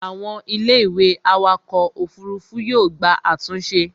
àwọn Ilé ìwé awakọ̀ òfurufú yóò gba àtúnṣe